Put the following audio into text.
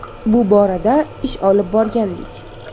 Bu borada ish olib borgandik.